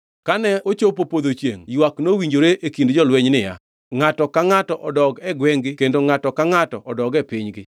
Kane ochopo podho chiengʼ ywak nowinjore e kind jolweny niya, ngʼato ka ngʼato odog e gwengʼ-gi kendo ngʼato ka ngʼato odog e pinygi.